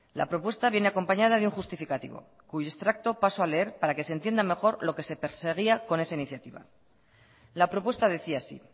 la propuesta viene acompañada de un justificativo cuyo extracto paso a leer para que se entienda mejor lo que se perseguía con esa iniciativa la propuesta decía así